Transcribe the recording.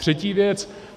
Třetí věc.